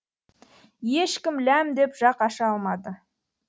ешкім ләм деп жақ аша алмады